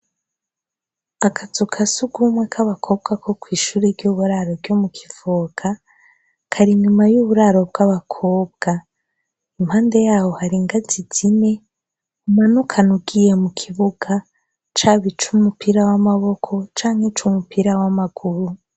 Akazu kasugumwe kabakobwa kokwishure ryuburaro ryo mukivoga kari inyuma yuburaro bwabakobwa impande yaho hari ingazi zine umanukana ugiye kukibuga caba cumupira wamaboko canke cumupira wamaguru